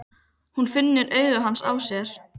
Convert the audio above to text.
Hún finnur augu hans á sér.